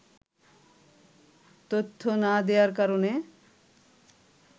তথ্য না দেয়ার কারণে